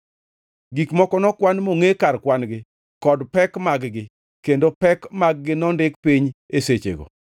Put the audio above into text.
Gik moko nokwan mongʼe kar kwan-gi kod pek mag-gi, kendo pek mag-gi nondik piny e sechego.